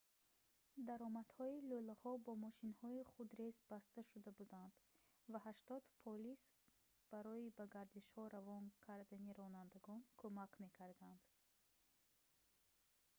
даромадҳои лӯлаҳо бо мошинҳои худрез баста шуда буданд ва 80 полис барои ба гардишҳо равон кардани ронандагон кумак мекарданд